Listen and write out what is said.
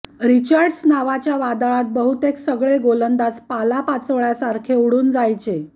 Richards नावाच्या वादळात बहुतेक सगळे गोलंदाज पाल्यापाचोळ्यासारखे उडुन जायचे